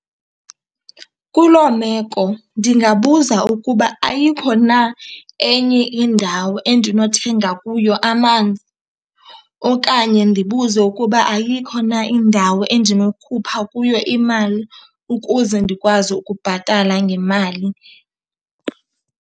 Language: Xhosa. Kuloo meko ndingabuza ukuba ayikho na enye indawo endinothenga kuyo amanzi okanye ndibuze ukuba ayikho na indawo endinokhupha kuyo imali ukuze ndikwazi ukubhatala ngemali.